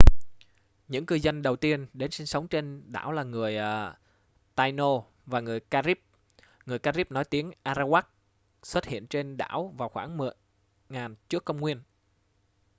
những cư dân đầu tiên đến sinh sống trên đảo là người taíno và người carib người carib nói tiếng arawak xuất hiện trên đảo vào khoảng 10.000 trước công nguyên